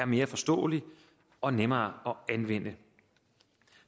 mere forståelig og nemmere at anvende